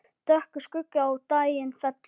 Dökkur skuggi á daginn fellur.